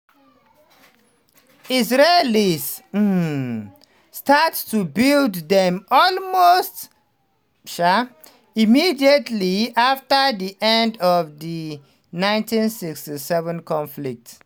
israelis um start to build dem almost um immediately after di end of di 1967 conflict.